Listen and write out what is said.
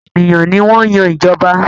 Àwọn ènìyàn ní wan Yàn ìjọba